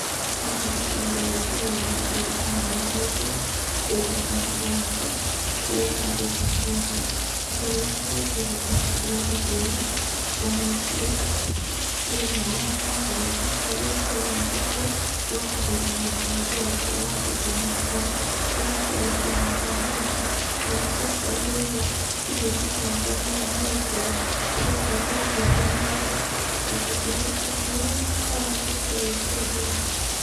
Haha mbica-inĩ ĩno ndĩrona mũthuri arũgamĩte thĩiniĩ wa mboco, kũrĩa ahandĩte mboco. Riita rĩakwa rĩa mbere ndekire ũndũ ũyũ, ndawĩkire thĩiniĩ wa mũgũnda, harĩa twahandĩte mboco na kũhũthĩra njĩra ya gũtema mĩkaro, ũgakorwo ũkĩhanda mboco. Na nĩ ciakorirwo igĩtũtanga mũno nĩgũkorwo nĩ ciakorirwo ikĩhĩa nĩ mbaa, na tũkĩhũra ndawa igĩkorwo ikĩagĩra.